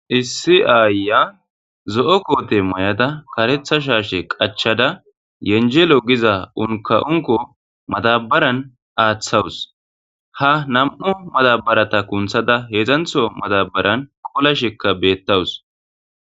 Issi ayiya zo'o kotte mayada kereththa shashe qachada yenjello giza unkka unkka madabaran aththawus ha nam'u madabaratta kunththda hedzdzanththo madabaran qolashekka betawus